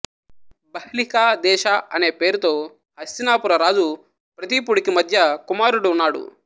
బహ్లిక దేశా అనే పేరుతో హస్థినాపుర రాజు ప్రతీపుడికి మధ్య కుమారుడు ఉన్నాడు